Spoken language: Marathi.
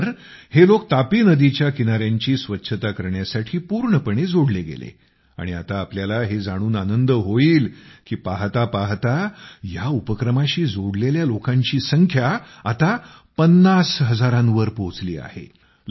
नंतर हे लोक तापी नदीच्या किनाऱ्यांची स्वच्छता करण्यासाठी पूर्णपणे जोडले गेले आणि आपल्याला हे समजून आनंद होईल की पाहता पाहता या उपक्रमाशी जोडलेल्या लोकांची संख्या आता पन्नास हजारावर पोहचली आहे